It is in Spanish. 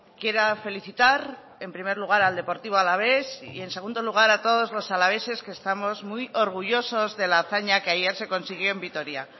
quiera felicitar en primer lugar al deportivo alavés y en segundo lugar a todos los alaveses que estamos muy orgullosos de la hazaña que ayer se consiguió en vitoria